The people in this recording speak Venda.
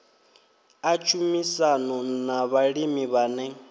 a tshumisano na vhalimi vhane